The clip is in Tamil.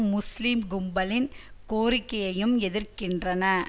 முஸ்லிம் கும்பலின் கோரிக்கையையும் எதிர்க்கின்றன